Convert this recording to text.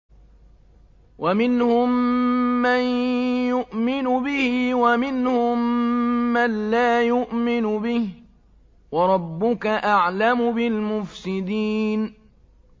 وَمِنْهُم مَّن يُؤْمِنُ بِهِ وَمِنْهُم مَّن لَّا يُؤْمِنُ بِهِ ۚ وَرَبُّكَ أَعْلَمُ بِالْمُفْسِدِينَ